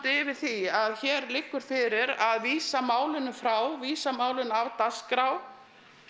yfir því að hér liggur fyrir að vísa málinu frá vísa málinu af dagskrá